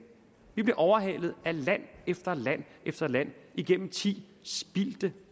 vi blev overhalet af land efter land efter land gennem ti spildte